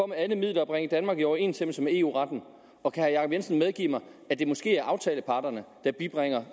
med alle midler at bringe danmark i overensstemmelse med eu retten og kan herre jacob jensen medgive mig at det måske er aftaleparterne der bibringer